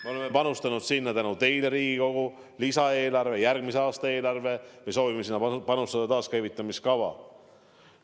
Me oleme panustanud sinna tänu teile, Riigikogu, lisaeelarve ja järgmise aasta eelarve kaudu ja me soovime selleks panustada ka taaskäivitamiskava summasid.